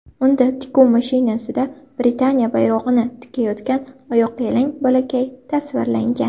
Unda tikuv mashinasida Britaniya bayrog‘ini tikayotgan oyoqyalang bolakay tasvirlangan.